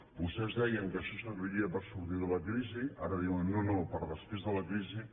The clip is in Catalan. vostès deien que això serviria per sortir de la crisi ara diuen no no per a després de la crisi